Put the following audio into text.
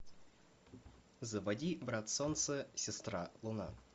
заводи брат солнце сестра луна